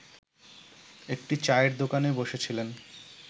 একটি চায়ের দোকানে বসেছিলেন